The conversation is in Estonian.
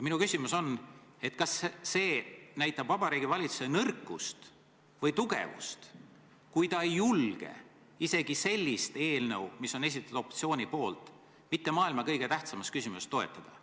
Kas see näitab Vabariigi Valitsuse nõrkust või tugevust, kui ta ei julge toetada isegi sellist eelnõu, mis on esitatud opositsiooni poolt maailma mitte kõige tähtsamas küsimuses?